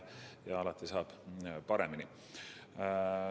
Alati saab paremini.